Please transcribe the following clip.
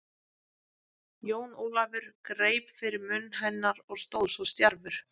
Jón Ólafur greip fyrir munn hennar og stóð svo stjarfur.